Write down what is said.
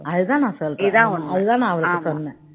அது தான் நான் சொல்றேன் அது தான் நானும் சொன்னேன்